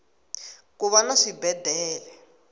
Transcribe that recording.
kuva na swibedele